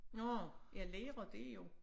Nå ja lærer det jo